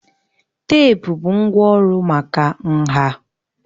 Teepu bụ ngwá ọrụ maka nha